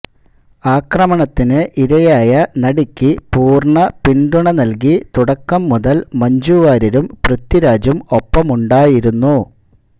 ആക്രമണത്തിന് ഇരയായ നടിക്ക് പൂര്ണ്ണ പിന്തുണ നല്കി തുടക്കം മുതല് മഞ്ജു വാര്യരും പൃഥ്വിരാജും ഒപ്പമുണ്ടായിരുന്നു